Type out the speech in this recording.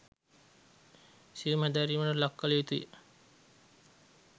සියුම් හැදෑරීමකට ලක් කළ යුතු ය